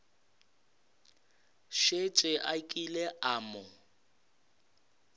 šetše a kile a mo